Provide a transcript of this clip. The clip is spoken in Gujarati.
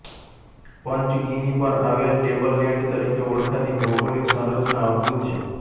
પંચગિની પર આવેલ ટેબલ લેન્ડ તરીકે ઓળખાતી ભૌગોલિક સંરચના અદ્ભૂત છે